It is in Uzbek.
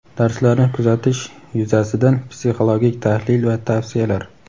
Darslarni kuzatish yuzasidan psixologik tahlil va tavsiyalar;.